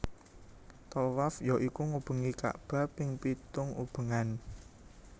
Thawaf ya iku ngubengi ka bah ping pitung ubengan